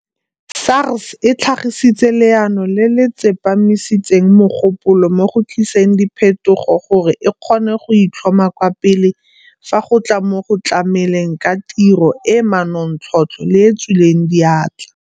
SARS e tlhagisitse leano le le tsepamisitseng mogopolo mo go tliseng diphetogo gore e kgone go itlhoma kwa pele fa go tla mo go tlameleng ka tiro e e manontlhotlho le e e tswileng diatla.